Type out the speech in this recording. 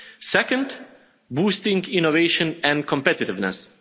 Second boosting innovation and competitiveness.